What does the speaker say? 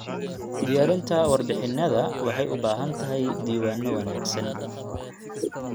Diyaarinta warbixinnada waxay u baahan tahay diiwaanno wanaagsan.